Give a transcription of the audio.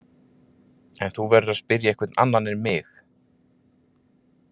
En þú verður að spyrja einhvern annan en mig.